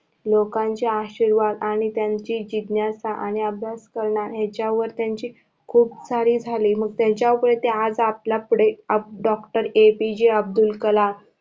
लोकांचे आशीर्वाद आणि त्यांची जिज्ञासा आणि अभ्यास करण याचावर त्याची खूप सारी झाली मग त्याचावर ते आज आपल्या पुढे Doctor APJ अब्दुल कलाम